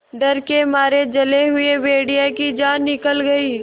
डर के मारे जले हुए भेड़िए की जान निकल गई